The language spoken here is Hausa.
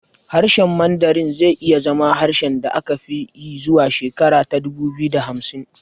Harshen Mandarin zai iya zama harshen da aka fi yi zuwa shekara ta dubu biyu da hamsin